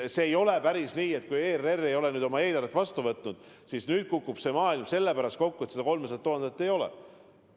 Ei ole päris nii, et kui ERR ei ole oma eelarvet vastu võtnud, siis nüüd kukub maailm selle pärast kokku, et seda 300 000 ei ole.